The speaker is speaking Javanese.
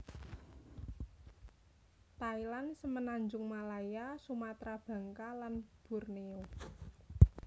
Thailand Semenanjung Malaya Sumatra Bangka lan Borneo